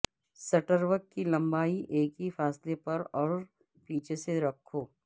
stroke کی لمبائی ایک ہی فاصلے پر اور پیچھے سے رکھو